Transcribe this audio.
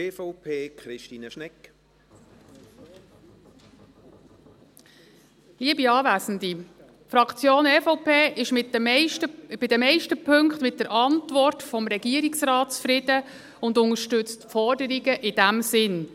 Die Fraktion EVP ist in den meisten Punkten mit der Antwort des Regierungsrates zufrieden und unterstützt die Forderungen in diesem Sinn.